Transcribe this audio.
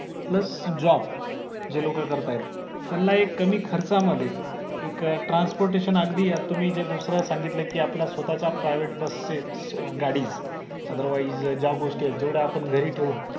plus job जे लोक करताहेत त्यांना एक कमी खर्चा मध्ये एक transportation अगदी यात तुम्ही जे दुसऱ्या सांगितले आपल्या स्वतःच्या private बसेस गाडी otherwise ज्या गोष्टी आहे जेवढे आपण घरी ठेऊन